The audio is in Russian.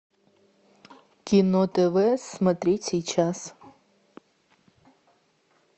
кино тв смотреть сейчас